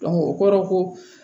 o kɔrɔ ko